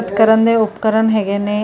ਕਰਨ ਦੇ ਉਪਕਰਨ ਹੈਗੇ ਨੇ।।